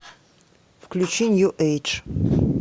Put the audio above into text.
включи нью эйдж